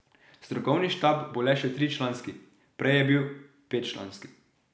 Strokovni štab bo le še tričlanski, prej je bil petčlanski.